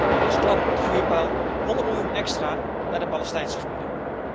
En als klap op de vuurpijl 100 miljoen extra voor de Palestijnse gebieden.